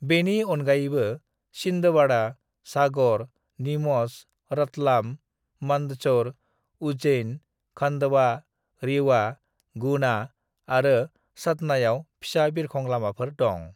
"बेनि अनगायैबो छिंदवाड़ा, सागर, नीमच, रतलाम, मंदसौर, उज्जैन, खंडवा, रीवा, गुना आरो सतनायाव फिसा बिरखं लामाफोर दं।"